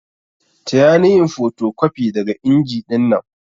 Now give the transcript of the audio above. Taya ni yin fotocopi daga inji dinnan.